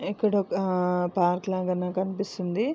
ఇక్కడొక పార్క్ లాగా నాకనిపిస్తుంది.